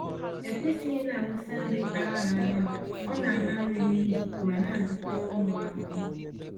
E kwesịghị ịnawụsa nri aghara aghara, ọ-nala nri n'iyi ma na-adọta ụmụ ahụhụ.